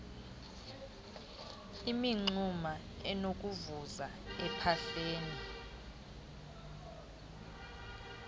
imingxuma enokuvuza ephahleni